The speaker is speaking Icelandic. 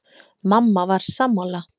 Mamma var sammála.